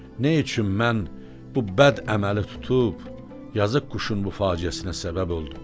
Nə üçün mən bu bəd əməli tutub yazıq quşun bu faciəsinə səbəboldum.